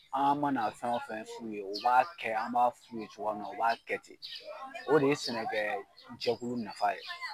Aan mana fɛn o fɛn f'u ye u b'a kɛ, an b'a f'u ye cogoya min na u b'a kɛ ten. O de ye sɛnɛkɛɛjɛkulu nafa ye.